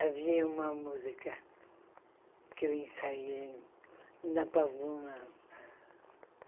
Havia uma música que eu ensaiei na pavuna.